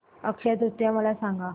अक्षय तृतीया मला सांगा